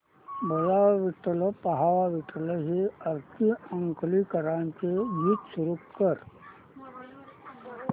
बोलावा विठ्ठल पहावा विठ्ठल हे आरती अंकलीकरांचे गीत सुरू कर